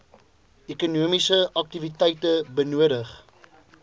ekonomiese aktiwiteite benodig